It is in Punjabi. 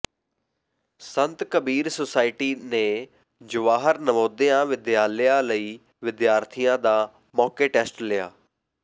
ਸੰਤ ਕਬੀਰ ਸੁਸਾਇਟੀ ਨੇ ਜਵਾਹਰ ਨਵੋਦਿਆਂ ਵਿਦਿਆਲਿਆ ਲਈ ਵਿਦਿਆਰਥੀਆ ਦਾ ਮੌਕੇ ਟੈਸਟ ਲਿਆ